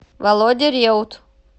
володя реут